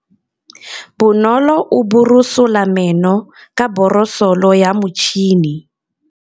Bonolô o borosola meno ka borosolo ya motšhine.